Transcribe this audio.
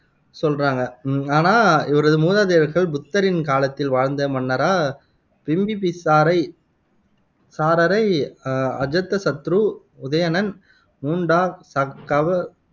சொல்றாங்க ஆனா இவரது மூதாதையர்கள் புத்தரின் காலத்தில் வாழ்ந்த மன்னரான பிம்பிபிசாரை சாரரை அஜாதசத்ரு, உதயணன், முண்டா, க ககவ